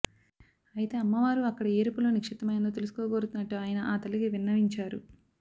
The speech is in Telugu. అయితే అమ్మవారు అక్కడ ఏ రూపంలో నిక్షిప్తమై వుందో తెలుసుకోగోరుతున్నట్టు ఆయన ఆ తల్లికి విన్నవించారు